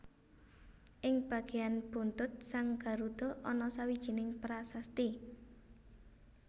Ing bagéyan buntut sang Garudha ana sawijining prasasti